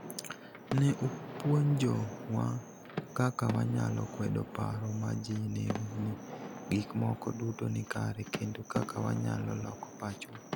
Ne opuonjowa kaka wanyalo kwedo paro ma ji nigo ni gik moko duto nikare kendo kaka wanyalo loko pachwa.